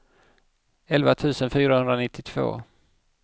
elva tusen fyrahundranittiotvå